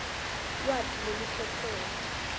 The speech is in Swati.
lwati lwelukhetselo